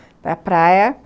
Para praia.